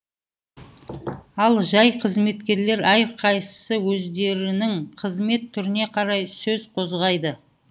ал жай қызметкерлер әрқайсысы өздерінің кызмет түріне қарай сөз қозғайды